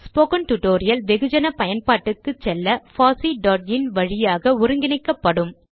spoken tutorial வெகுஜன பயன்பாட்டுக்கு செல்ல fosseஇன் வழியாக ஒருங்கிணைக்கப்படும்